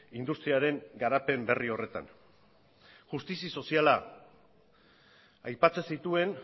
industriaren garapen berri horretan justizia soziala aipatzen zituen